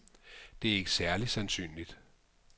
Det er ikke særlig sandsynligt.